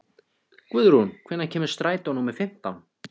Guðrún, hvenær kemur strætó númer fimmtán?